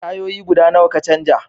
Tayoyi guda nawa ka canja?